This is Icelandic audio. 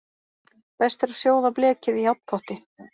Best er að sjóða blekið í járnpotti.